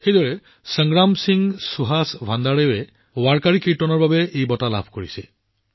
আনহাতে সংগ্ৰাম সিং সুহাস ভাণ্ডাৰেজীক ৱাৰ্কাৰী কীৰ্তনৰ বাবে পুৰস্কৃত কৰা হৈছে